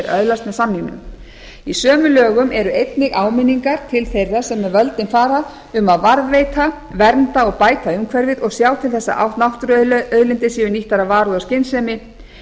öðlast með samningnum í sömu lögum eru einnig á minningar til þeirra sem með völdin fara um að varðveita vernda og bæta umhverfið og sjá til þess að náttúruauðlindir séu nýttar af varúð og skynsemi